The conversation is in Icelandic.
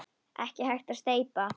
Ekki hægt að steypa.